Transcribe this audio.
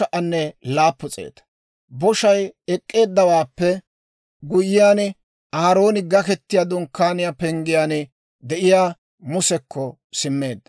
Boshay ek'k'eeddawaappe guyyiyaan, Aarooni Gaketiyaa Dunkkaaniyaa penggiyaan de'iyaa Musekko simmeedda.